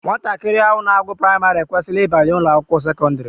Nwatakịrị ahụ na-agụ praịmarị ekwesịla ịbanye ụlọakwụkwọ sekọndịrị